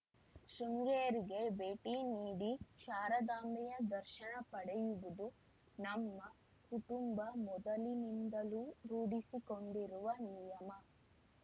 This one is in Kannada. ಶೃಂಗೇರಿಗೆ ಭೇಟಿ ನೀಡಿ ಶಾರದಾಂಬೆಯ ದರ್ಶನ ಪಡೆಯುವುದು ನಮ್ಮ ಕುಟುಂಬ ಮೊದಲಿನಿಂದಲೂ ರೂಢಿಸಿಕೊಂಡಿರುವ ನಿಯಮ